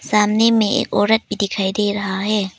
सामने मे एक औरत भी दिखाई दे रहा है।